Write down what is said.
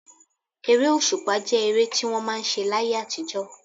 Ere òṣùpá jẹ́ ere tí wọ́n máa ń ṣe láyé àtijọ́.